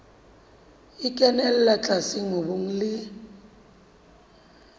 e kenella tlase mobung le